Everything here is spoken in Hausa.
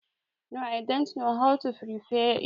No i dont know how to prepare it.